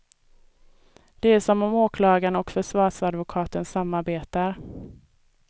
Det är som om åklagaren och försvarsadvokaten samarbetar.